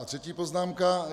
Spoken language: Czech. A třetí poznámka.